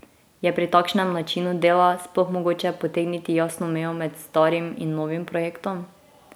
Je pri takšnem načinu dela sploh mogoče potegniti jasno mejo med starim in novim projektom?